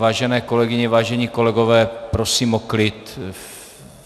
Vážené kolegyně, vážení kolegové, prosím o klid!